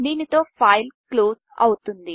దీనితో file close అవుతుంది